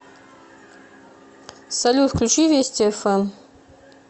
салют включи вести эф эм